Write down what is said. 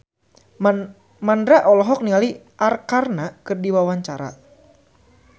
Mandra olohok ningali Arkarna keur diwawancara